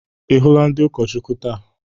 Ị hụla ndị ụkọchukwu taa?